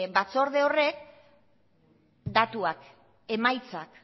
batzorde horrek datuak emaitzak